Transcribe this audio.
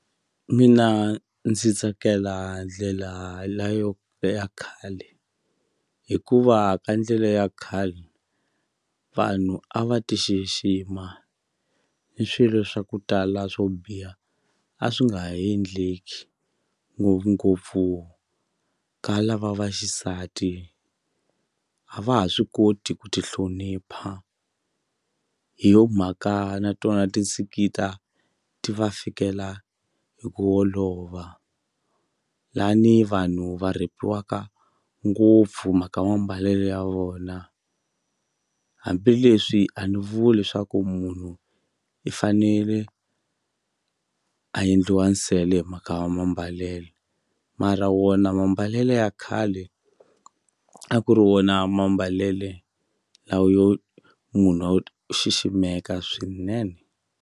Mina ndzi tsakela ndlela leyo ya khale hikuva ka ndlela ya khale vanhu a va ti xixima ni swilo swa ku tala swo biha a swi nga ha endleki ngopfungopfu ka lava vaxisati a va ha swi koti ku ti hlonipha hi yo mhaka na tona ti va fikela hi ku olova la ni vanhu va rhepiwaka ngopfu mhaka mambalelo ya vona hambileswi a ni vuli leswaku munhu i fanele a endliwa nsele hi mhaka ya mambalelo mara wona mambalelo ya khale a ku ri wona mambalelo lawa yo munhu xiximeka swinene.